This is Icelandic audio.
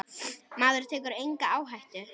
Maður tekur enga áhættu!